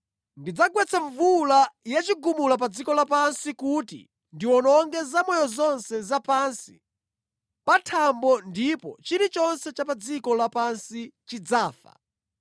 Ndidzagwetsa mvula ya chigumula pa dziko lapansi kuti ndiwononge zamoyo zonse za pansi pa thambo ndipo chilichonse cha pa dziko lapansi chidzafa.